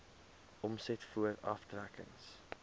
omset voor aftrekkings